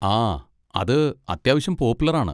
ആ, അത് അത്യാവശ്യം പോപ്പുലർ ആണ്.